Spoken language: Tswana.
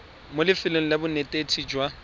mo lefelong la bonetetshi jwa